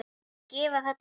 Ætlarðu að gefa þetta út?